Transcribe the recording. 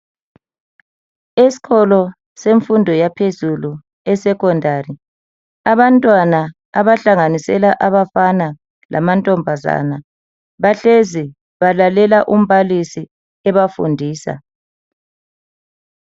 Eskolo semfundo yaphezulu e"Secondary " abantwana abahlanganisela abafana lamantombazana bahlezi balalela umbalisi ebafundisa.